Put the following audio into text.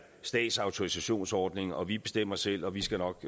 statsautorisationsordning og siger vi bestemmer selv og vi skal nok